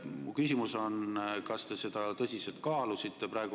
Mu küsimus on: kas te seda tõsiselt kaalusite?